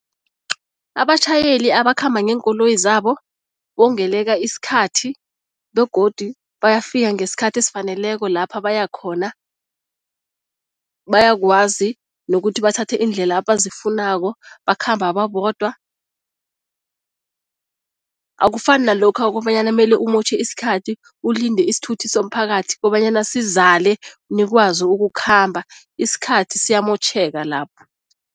Abatjhayeli abakhamba ngeenkoloyi zabo bongeleka isikhathi begodu bayafika ngesikhathi esifaneleko lapha baya khona. Bayakwazi nokuthi bathathe iindlela abazifunako, bakhamba babodwa, akufani nalokha kobanyana mele umotjhe isikhathi ulinde isithuthi somphakathi kobanyana sizale nikwazi ukukhamba, isikhathi siyamotjheka lapho.